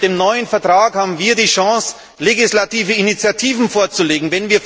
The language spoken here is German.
Mit dem neuen Vertrag haben wir die Chance, legislative Initiativen vorzulegen.